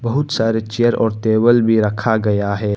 बहुत सारे चेयर और टेबल भी रखा गया है।